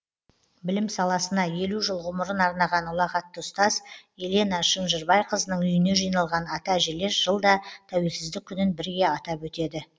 білім саласына елу жыл ғұмарын арнаған ұлағатты ұстаз елена шынжырбайқызының үйіне жиналған ата әжелер жылда тәуелсіздік күнін бірге атап өтеді